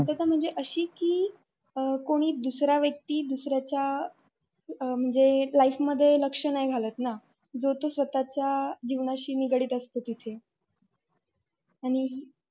जस म्हणजे अशी कि कोणी दुसरा व्यक्ती दुसऱ्याच्या म्हणजे life मध्ये लक्ष्य नाही घालत न जो तो स्वतःच्या जीवनाशी निगडीत असतो तिथ आनि.